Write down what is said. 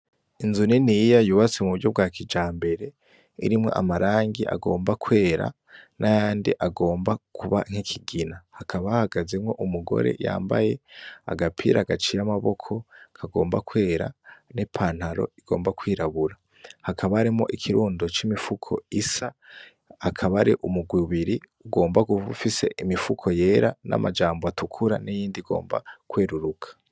Inzu niniya yubatswe m'uburyo bwa kijambere, irimwo amarangi agomba kwera, n'ayandi agomba kuba nk'ikigina, hakaba hahagazemwo umugore yambaye agapira gaciye amaboko, kagomba kwera n'ipantaro igomba kwirabura. Hakaba harimwo ikirundo c'imifuko isa, hakaba hari umigwi ibiri ugomba ube ifise imifuko yera n'amajambo atukura n'iyindi igomba kweruruka.